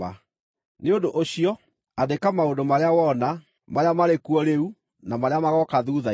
“Nĩ ũndũ ũcio, andĩka maũndũ marĩa wona, marĩa marĩ kuo rĩu na marĩa magooka thuutha-inĩ.